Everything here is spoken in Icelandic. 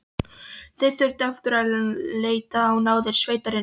Þau þurftu aftur að leita á náðir sveitarinnar.